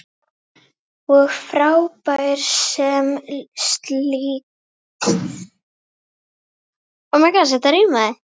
Og frábær sem slíkur.